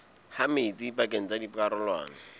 ha metsi pakeng tsa dikarolwana